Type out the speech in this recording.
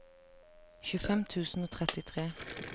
tjuefem tusen og trettitre